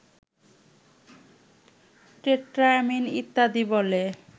tetraammine ইত্যাদি বলে